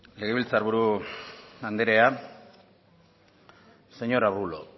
legebiltzar buru andrea señor de arbulo